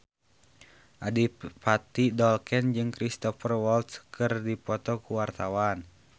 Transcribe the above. Adipati Dolken jeung Cristhoper Waltz keur dipoto ku wartawan